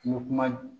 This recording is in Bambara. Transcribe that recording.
I bɛ kuma